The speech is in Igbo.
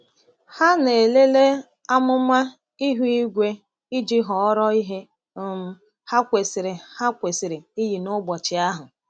Ha na-elele amụma ihu igwe iji họrọ ihe um ha kwesịrị ha kwesịrị iyi n’ụbọchị ahụ.